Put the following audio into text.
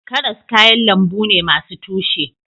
Karas kayan lambu ne masu tushe